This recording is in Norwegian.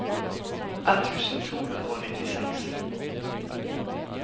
ett tusen to hundre og nittiseks